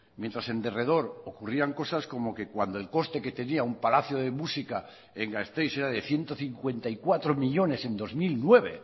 mientras en derredor ocurrían cosas como que cuando el coste que tenía un palacio de música en gasteiz era de ciento cincuenta y cuatro millónes en dos mil nueve